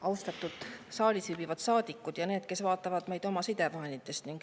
Austatud saalis viibivad saadikud ja need, kes vaatavad meid sidevahendite kaudu!